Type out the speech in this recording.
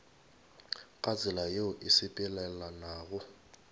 ka tsela yeo e sepelelanago